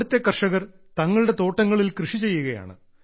അവിടത്തെ കർഷകർ തങ്ങളുടെ തോട്ടങ്ങളിൽ കൃഷിചെയ്യുകയാണ്